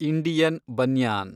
Indian banyan